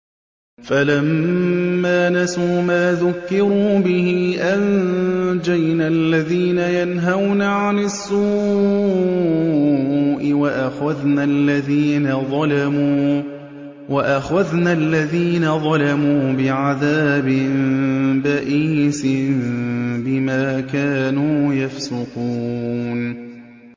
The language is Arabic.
فَلَمَّا نَسُوا مَا ذُكِّرُوا بِهِ أَنجَيْنَا الَّذِينَ يَنْهَوْنَ عَنِ السُّوءِ وَأَخَذْنَا الَّذِينَ ظَلَمُوا بِعَذَابٍ بَئِيسٍ بِمَا كَانُوا يَفْسُقُونَ